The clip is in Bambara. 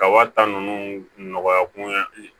Ka wa tan ninnu nɔgɔya kun ɲɛ